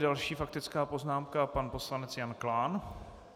Další faktická poznámka, pan poslanec Jan Klán.